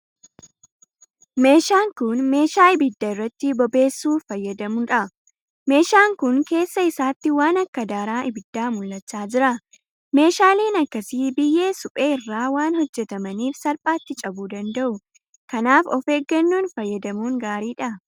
Meeshaan kun meeshaa ibidda irratti bobeessuu fayyaduudha. Meeshaan kun keessa isaatti waan akka daaraa ibiddaa mul'achaa jira. Meeshaaleen akkasii biyyee suphee irraa waan hojjetamaniif salphaatti cabuu danda'uu. Kanaaf of eeggannoon fayyadamuun gaariidha.